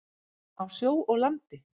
Á sjó og landi.